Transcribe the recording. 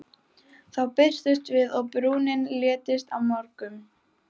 Þá birtumst við og brúnin léttist á mörgum.